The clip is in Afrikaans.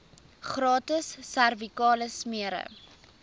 gratis servikale smere